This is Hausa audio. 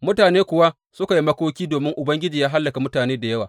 Mutane kuwa suka yi makoki domin Ubangiji ya hallaka mutane da yawa.